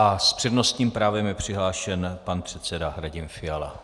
A s přednostním právem je přihlášen pan předseda Radim Fiala.